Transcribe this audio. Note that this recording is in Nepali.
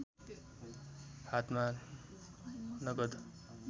हातमा नगद